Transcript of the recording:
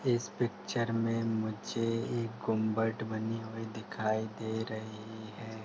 इस पिक्चर में मुझे एक गुंबद बनी हुई दिखाई दे रही है।